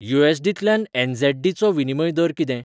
यू.एस.डी.तल्यान ऍन.झॅड.डी.चो विनिमय दर कितें?